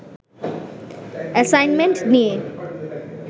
assignment নিয়ে